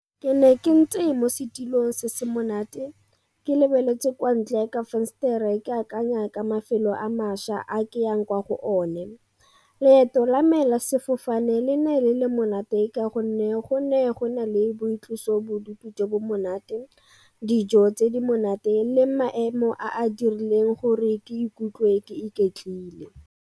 Ke ne ke ntse mo setilong se se monate, ke lebeletse kwa ntle ya ka fensetere ke akanya ka mafelo a mašwa a ke yang kwa go one. Leeto la me la sefofane nang le le monate ka gonne go ne go na le boitlosobodutu jo bo monate, dijo tse di monate le maemo a a dirileng gore ke ikutlwe ke iketlile.